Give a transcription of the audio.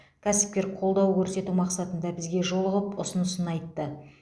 кәсіпкер қолдау көрсету мақсатында бізге жолығып ұсынысын айтты